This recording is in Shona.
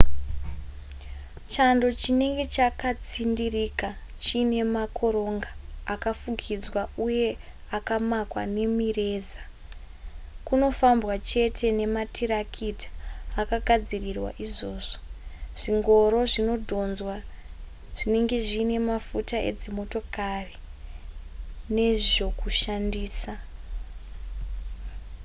chando chinenge chakatsindirika chiine makoronga akafukidzwa uye akamakwa nemireza kunofambwa chete nematarakita akagadzirirwa izvozvo zvingoro zvinodhonzwa zvinenge zviine mafuta edzimotokari nezvokushandisa